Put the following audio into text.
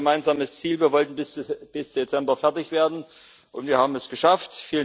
Wir hatten ein gemeinsames Ziel Wir wollten bis Dezember fertig werden, und wir haben es geschafft.